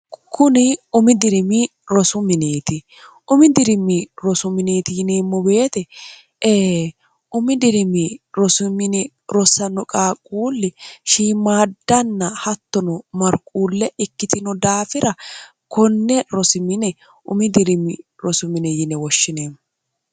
kuni umi dirimi rosu miniiti umi dirimi rosu miniiti yiniimmo beete e umi dirimi rosumine rosanno qaaquulli shiimaaddanna hattono marquulle ikkitino daafira konne rosimine umi dirimi rosumine yine woshshineemmo